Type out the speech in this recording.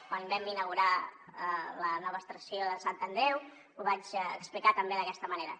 quan vam inaugurar la nova estació de sant andreu ho vaig explicar també d’aquesta manera